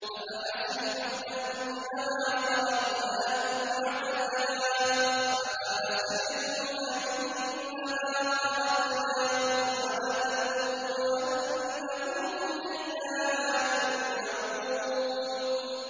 أَفَحَسِبْتُمْ أَنَّمَا خَلَقْنَاكُمْ عَبَثًا وَأَنَّكُمْ إِلَيْنَا لَا تُرْجَعُونَ